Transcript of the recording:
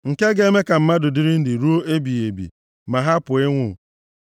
nke ga-eme ka mmadụ dịrị ndụ ruo ebighị ebi, ma hapụ ịnwụ.